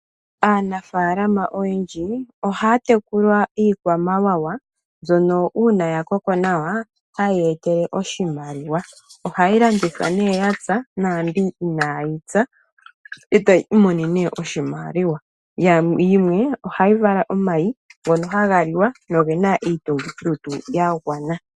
Aanafalama oyendji ohaya tekula iikwamawawa mbyono uuna yakoko nawa hayi ya etele oshimaliwa. Ohayi landithwa nee yapya naambyoka inayi pya, ee to imonene oshimaliwa. Yimwe ohayi vala omayi ngono haga liwa nogena iitungithilutu yagwana.